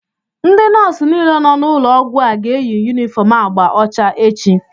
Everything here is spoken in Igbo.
Ndị nọọsụ niile nọ n'ụlọọgwụ a ga-eyi yunifọm agba ọcha echi